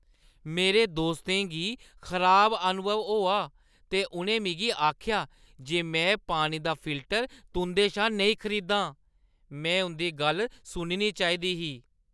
मेरे दोस्तें गी खराब अनुभव होआ ते उʼनें मिगी आखेआ जे में पानी दा फिल्टर तुंʼदे शा नेईं खरीदां। में उंʼदी गल्ल सुननी चाहिदी ही।